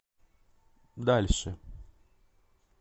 дальше